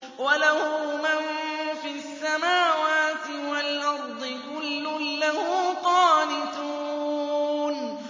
وَلَهُ مَن فِي السَّمَاوَاتِ وَالْأَرْضِ ۖ كُلٌّ لَّهُ قَانِتُونَ